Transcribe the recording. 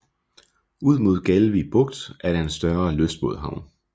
Ud mod Galvig Bugt er der en større lystbådehavn